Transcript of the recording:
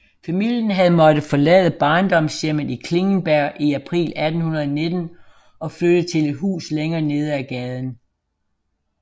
Familien havde måttet forlade barndomshjemmet i Klingenberg i april 1819 og flytte til et hus længere nede ad gaden